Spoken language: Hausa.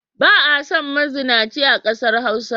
Ba a son mazunaci a ƙasar Hausa.